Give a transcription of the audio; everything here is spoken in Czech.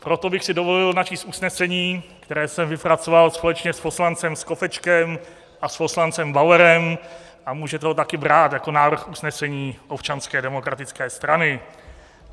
Proto bych si dovolil načíst usnesení, které jsem vypracoval společně s poslancem Skopečkem a s poslancem Bauerem, a můžete ho taky brát jako návrh usnesení Občanské demokratické strany.